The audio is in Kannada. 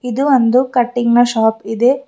ಇದು ಒಂದು ಕಟಿಂಗ್ ನ ಶಾಪ್ ಇದೆ.